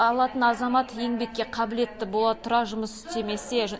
алатын азамат еңбекке қабілетті бола тұра жұмыс істемесе